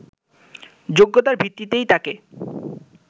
যোগ্যতার ভিত্তিতেই তাকে